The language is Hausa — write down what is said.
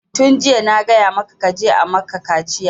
Tun jiya na gaya maka kaje a maka kaciya!